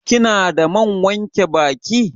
Kina da man wanke baki?